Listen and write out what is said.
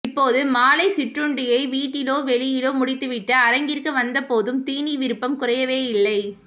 இப்போது மாலை சிற்றுண்டியை வீட்டிலோ வெளியிலோ முடித்துவிட்டு அரங்கிற்கு வந்த போதும் தீனி விருப்பம் குறையவேயில்லை